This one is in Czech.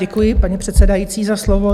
Děkuji, paní předsedající, za slovo.